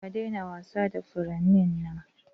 Ka daina wasa da furannin nan!